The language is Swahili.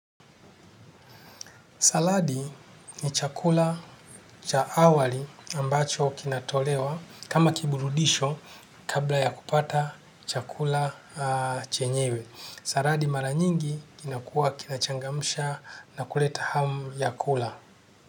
Saladi ni chakula cha awali ambacho kinatolewa kama kiburudisho kabla ya kupata chakula chenyewe. Saladi mara nyingi kinakua kinachangamusha na kuleta ham ya kula.